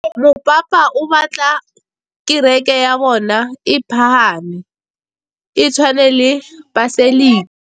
Mopapa o batla kereke ya bone e pagame, e tshwane le paselika.